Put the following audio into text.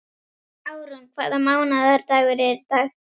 Árún, hvaða mánaðardagur er í dag?